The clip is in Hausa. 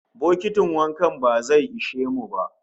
Bokitin wanka ba zai ishe mu ba